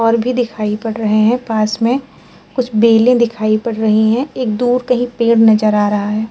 और भी दिखाई पड़ रहे हैं। पास में कुछ बेलें दिखाई पड़ रही हैं। एक दूर कहीं पेड़ नजर आ रहा है।